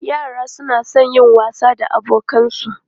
Yara suna son yin wasa da abokansu.